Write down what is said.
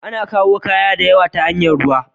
Ana kayu kaya diyawa ta hanyar ruwa.